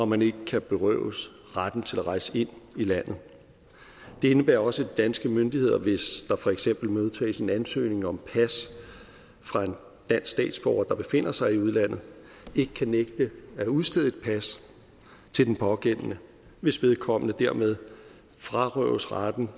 man ikke kan berøves retten til at rejse ind i landet det indebærer også at de danske myndigheder hvis der for eksempel modtages en ansøgning om pas fra en dansk statsborger der befinder sig i udlandet ikke kan nægte at udstede et pas til den pågældende hvis vedkommende dermed frarøves retten